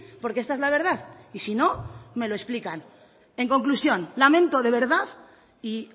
porque esta es la verdad y si no me lo explican en conclusión lamento de verdad y